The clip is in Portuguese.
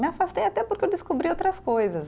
Me afastei até porque eu descobri outras coisas.